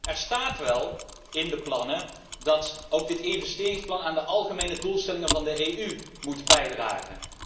Er staat wel in de plannen dat ook dit investeringsplan aan de algemene doelstellingen van de EU moet bijdragen.